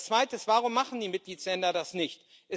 Das Zweite Warum machen die Mitgliedstaaten das nicht?